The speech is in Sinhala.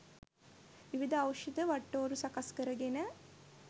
විවිධ ඖෂධ වටිටෝරු සකස් කර ගෙන